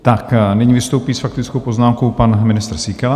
A nyní vystoupí s faktickou poznámkou pan ministr Síkela.